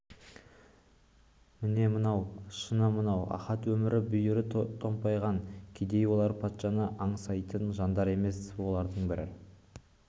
міне мынау шыны мынау ахат өмірі бүйірі томпаймаған кедей олар патшаны аңсайтын жандар емес олардың бір